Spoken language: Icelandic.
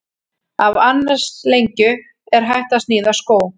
Af annars lengju er hægt að sníða skó.